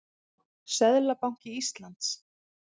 Seðlabanki Íslands.